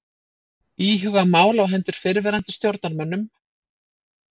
Íhuga mál á hendur fyrrverandi stjórnarmönnum